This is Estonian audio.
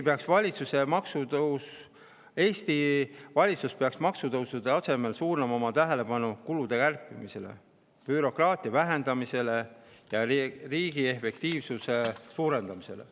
Eesti valitsus peaks maksutõusude asemel suunama oma tähelepanu kulude kärpimisele, bürokraatia vähendamisele ja riigi efektiivsuse suurendamisele.